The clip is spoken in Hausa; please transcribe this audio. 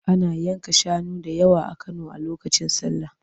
Ana yanka shanu da yawa a Kano a lokacin sallah.